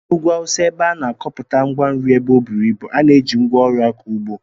N'ugwu awụsa, ebe a na-akọpụta ngwa nri ebe ọ buru ibu, a na-eji ngwa ọrụ akọ ụgbọ